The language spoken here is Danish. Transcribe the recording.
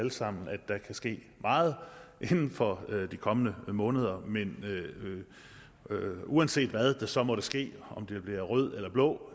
alle sammen at der kan ske meget inden for de kommende måneder men uanset hvad der så måtte ske om det bliver rød eller blå